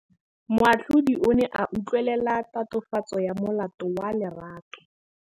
Moatlhodi o ne a utlwelela tatofatsô ya molato wa Lerato.